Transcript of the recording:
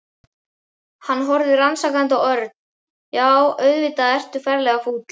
Hann horfði rannsakandi á Örn. Já, auðvitað ertu ferlega fúll.